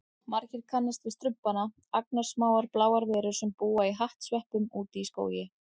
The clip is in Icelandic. Margir kannast við Strumpana, agnarsmáar bláar verur sem búa í hattsveppum úti í skógi.